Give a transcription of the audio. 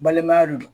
Balimaya de do